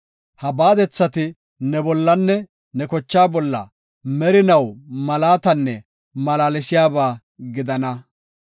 Ha baadethati ne bollanne ne kochaa bolla merinaw malaatanne malaalsiyaba gidana.